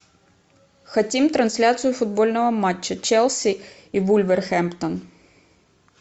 хотим трансляцию футбольного матча челси и вулверхэмптон